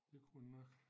Det kunne han nok